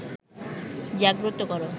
জাগ্রত করো